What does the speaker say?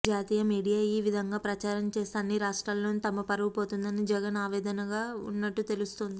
జాతీయ మీడియా ఈ విధంగా ప్రచారం చేస్తే అన్ని రాష్ట్రాల్లోనూ తమ పరువు పోతుందని జగన్ ఆవేదనగా ఉన్నట్టు తెలుస్తోంది